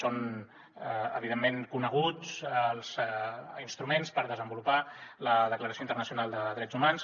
són evidentment coneguts els instruments per desenvolupar la declaració internacional de drets humans